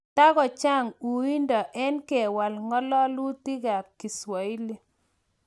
togo chang uindo en kewal ngalalutig ap kiswahili